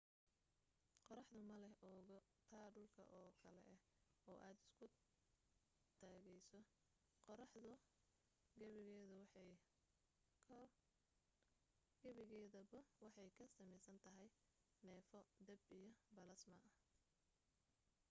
qoraxdu ma leh oogo ta dhulka oo kale ah oo aad isku taagayso qoraxdu gebigeeduba waxay ka samaysan tahay neefo dab iyo balaasma